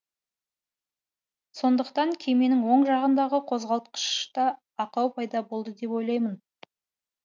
сондықтан кеменің оң жағындағы қозғалтқышта ақау пайда болды деп ойлаймын